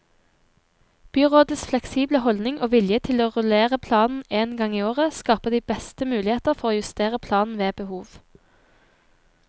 Byrådets fleksible holdning og vilje til å rullere planen én gang i året, skaper de beste muligheter for å justere planen ved behov.